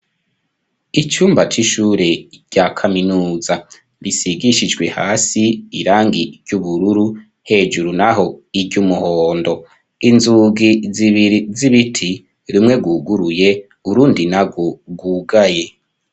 Icumba c'ishure, rya kaminuza; risigishijwe hasi, irangi ry'ubururu, hejuru naho, iry'umuhondo; inzugi zibiri, z'ibiti, rumwe rwuguruye, urundi nagwo rwugaye.